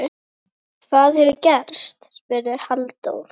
Hvað hefur gerst? spurði Halldór.